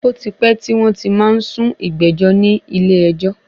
Ó ti pẹ tí wọn ti má ń sún ìgbẹ́jọ́ ní ilé ẹjọ́.